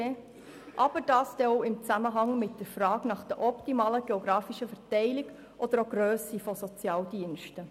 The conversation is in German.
Diese Aspekte stehen auch im Zusammenhang mit der optimalen Verteilung und Grösse der Sozialdienste.